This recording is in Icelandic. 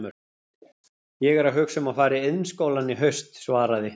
Ég er að hugsa um að fara í Iðnskólann í haust, svaraði